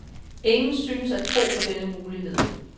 Ingen synes at tro på denne mulighed.